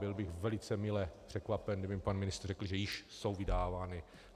Byl bych velice mile překvapen, kdyby mně pan ministr řekl, že již jsou vydávána.